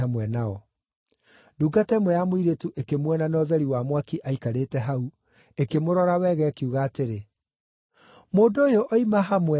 Ndungata ĩmwe ya mũirĩtu ĩkĩmuona na ũtheri wa mwaki aikarĩte hau, ĩkĩmũrora wega, ĩkiuga atĩrĩ, “Mũndũ ũyũ oima hamwe nake.”